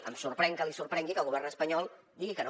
em sorprèn que li sorprengui que el govern espanyol digui que no